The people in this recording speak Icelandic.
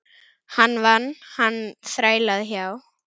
Hann vann, hann þrælaði hjá